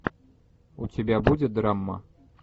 у тебя будет драма